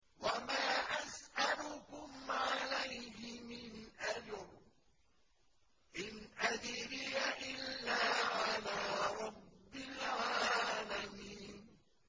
وَمَا أَسْأَلُكُمْ عَلَيْهِ مِنْ أَجْرٍ ۖ إِنْ أَجْرِيَ إِلَّا عَلَىٰ رَبِّ الْعَالَمِينَ